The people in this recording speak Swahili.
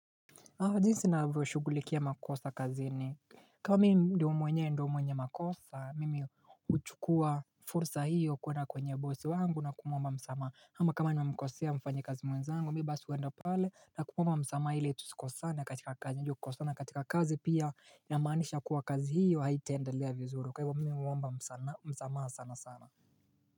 Jinsi navyoshugulikia makosa kazini, kama mimi ndio mwenye ndio mwenye makosa mimi huchukua fursa hio kuendna kwenye bosi wangu na kumuomba msamaha, ama kama nimemkosea mfanyikazi mwenzangu, mimi basi huenda pale na kumuomba msamaha ili tusikosane katika kazi juu kukosana katika kazi pia inamaanisha kuwa kazi hiyo haitendelea vizuri. Kwa hivyo mimi huomba msamaha sana sana.